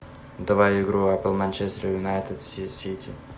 давай игру апл манчестер юнайтед с сити